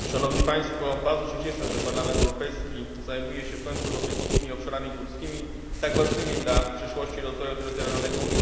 Bardzo się cieszę, że Parlament Europejski zajmuje się w końcu europejskimi obszarami górskimi, tak ważnymi dla przyszłości rozwoju terytorialnego Unii Europejskiej.